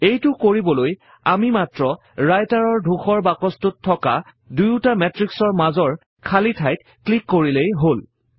এইটো কৰিবলৈ আমি মাত্ৰ Writer ৰ ধূসৰ বাকছ্টোত থকা দুয়ুটা মেত্ৰিক্সৰ মাজৰ খালী ঠাইত ক্লিক কৰিলেই হল